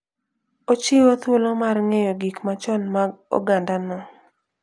Ochiwo thuolo mar ng'eyo gik machon mag ogandano.